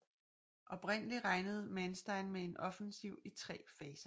Oprindelig regnede Manstein med en offensiv i tre faser